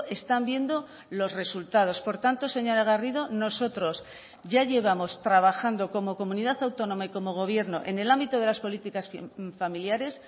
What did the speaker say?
están viendo los resultados por tanto señora garrido nosotros ya llevamos trabajando como comunidad autónoma y como gobierno en el ámbito de las políticas familiares